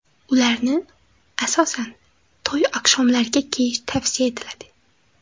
Ularni, asosan, to‘y oqshomlariga kiyish tavsiya etiladi.